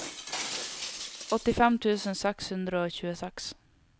åttifem tusen seks hundre og tjueseks